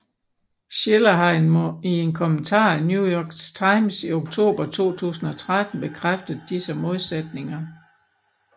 Shiller har i en kommentar i New York Times i oktober 2013 bekræftet disse modsætninger